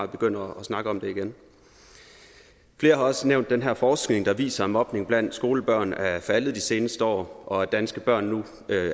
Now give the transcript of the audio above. begynder at snakke om det igen flere har også nævnt den her forskning der viser at mobning blandt skolebørn er faldet de seneste år og at danske børn nu